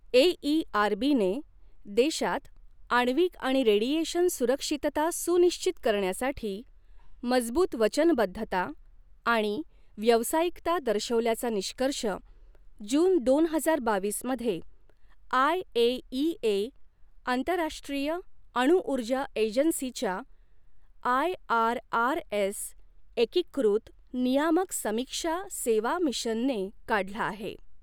एईआरबीने देशात आण्विक आणि रेडिएशन सुरक्षितता सुनिश्चित करण्यासाठी मजबूत वचनबद्धता आणि व्यावसायिकता दर्शवल्याचा निष्कर्ष, जून, दोन हजार बावीस मध्ये आयएईए आंतरराष्ट्रीय अणू ऊर्जा एजन्सी च्या आयआरआरएस एकीकृत नियामक समीक्षा सेवा मिशनने काढला आहे.